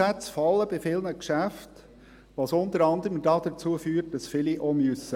Bei vielen Geschäften fallen die Umsätze, was unter anderem dazu führt, dass viele aufgeben müssen.